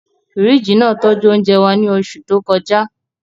Fíríjì náà tọ́jú oúnjẹ wa ní oṣù tó kọjá